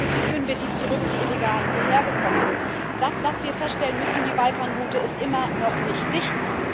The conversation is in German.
Zweitens Wie führen wir die zurück, die illegal hierher gekommen sind? Wir müssen feststellen Die Balkanroute ist immer noch nicht dicht.